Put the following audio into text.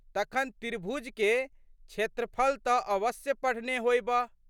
तखन त्रिभुजके क्षेत्रफल तऽ अवश्य पढ़ने होएबह?